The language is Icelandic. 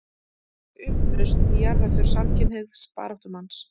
Upplausn í jarðarför samkynhneigðs baráttumanns